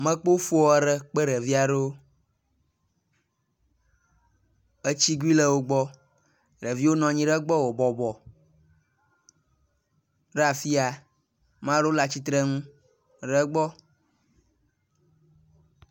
Mekpɔ foa ɖe kple ɖeviwo, etsikui le wogbɔ, ɖeviwo nɔ nyi ɖegbɔ wobɔbɔ ra fi ya